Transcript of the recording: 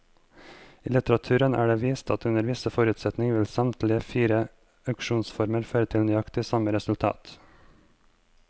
I litteraturen er det vist at under visse forutsetninger vil samtlige fire auksjonsformer føre til nøyaktig samme resultat.